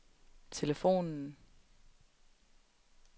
telefonen